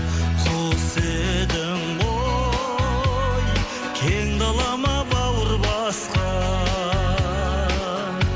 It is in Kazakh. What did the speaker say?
құс едің ғой кең далама бауыр басқан